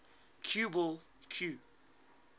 cue ball cue